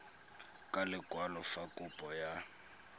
ka lekwalo fa kopo ya